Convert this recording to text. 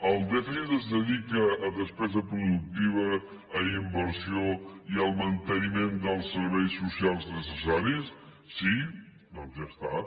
el dèficit es dedica a despesa productiva a inversió i al manteniment dels serveis socials necessaris sí doncs ja està